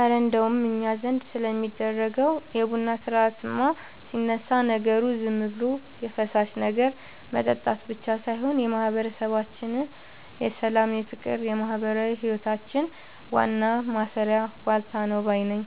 እረ እንደው እኛ ዘንድ ስለሚደረገው የቡና ሥርዓትማ ሲነሳ፣ ነገሩ ዝም ብሎ የፈሳሽ ነገር መጠጣት ብቻ ሳይሆን የማህበረሰባችን የሰላም፣ የፍቅርና የማህበራዊ ህይወታችን ዋናው ማሰሪያ ዋልታ ነው ባይ ነኝ!